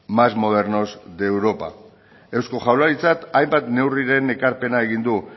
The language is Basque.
más modernos de europa eusko jaurlaritzak hainbat neurriren ekarpena egin du